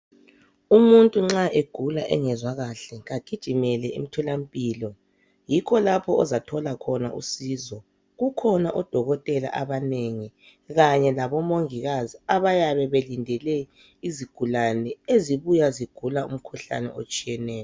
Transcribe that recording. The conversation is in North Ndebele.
Umuntu nxa egula engezwa kahle kagijimele emtholampilo, yikho lapho azathola khona usizo. Kukhona odokotela abanengi kanye labomongikazi abayabe belindele izigulane ezibuya zigula umkhuhlane otshiyeneyo.